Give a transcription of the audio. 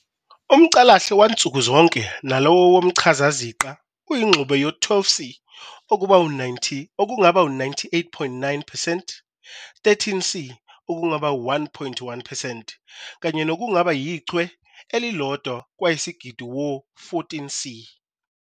UmCalahle wansuku zonke nalowo womchazaziqa uyingxube yo 12C, okungaba 98.9 percent, 13C, okungaba 1.1 percent, kanye nokungaba ichwe elilodwa kwayisigidi wo 14C.